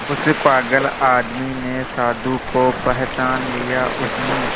उस पागल आदमी ने साधु को पहचान लिया उसने